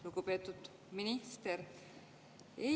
Lugupeetud minister!